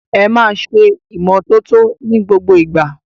Ẹ máa ṣe ìmọ́tótó ní gbogbo ìgbà!